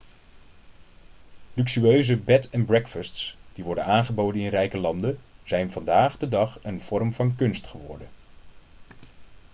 luxueuze bed and breakfasts die worden aangeboden in rijke landen zijn vandaag de dag een vorm van kunst geworden